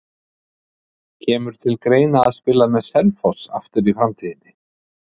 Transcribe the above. Kemur til greina að spila með Selfoss aftur í framtíðinni?